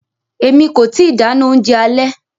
Emi ko ti dáná oúnjẹ alẹ́.